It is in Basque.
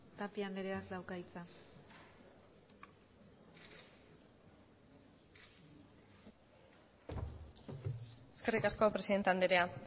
tapia andreak dauka hitza eskerrik asko presidente andrea